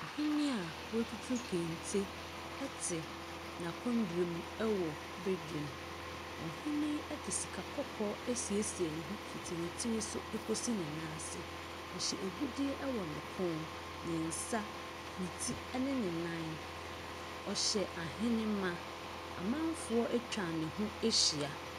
Ɔhene a watutu kente ɛte n'akondwa mu ɛwɔ badwa mu. Ɔhene yi de sika kɔkɔɔ asiesie neho fiti ne tiriso ekosi nenam ase. Ɔhyɛ agudie ɛwɔ neti, n'ekɔn, nensa ɛne nenan. Ɔhyɛ ahenema. Amanfoɔ atwa neho ahyia.